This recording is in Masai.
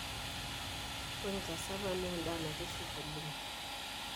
Ore Cassava naa endaa naitiship oleng.